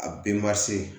A